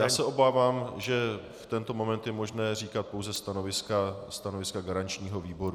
Já se obávám, že v tento moment je možné říkat pouze stanoviska garančního výboru.